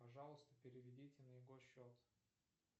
пожалуйста переведите на его счет